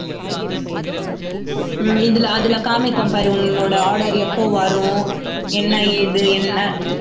ஹம் இதுல அதுல காமிக்கும் பாரு உன்னோட order எப்ப வரும் என்ன ஏது என்ன